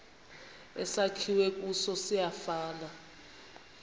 esakhiwe kuso siyafana